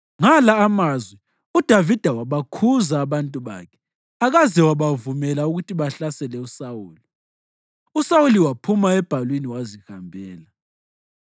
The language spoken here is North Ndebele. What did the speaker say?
Ngala amazwi uDavida wabakhuza abantu bakhe akaze wabavumela ukuthi bahlasele uSawuli. USawuli waphuma ebhalwini wazihambela.